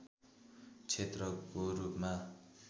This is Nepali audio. क्षेत्रको रूपमा